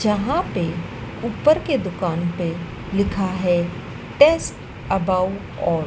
जहां पे ऊपर के दुकान पे लिखा है टेस्ट अबाउट ऑल ।